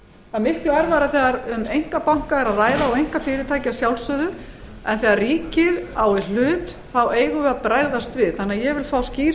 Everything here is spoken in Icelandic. er miklu erfiðara þegar um einkabanka er að ræða og einkafyrirtæki að sjálfsögðu en þegar ríkið á í hlut þá eigum við að bregðast við þannig að ég vil fá skýr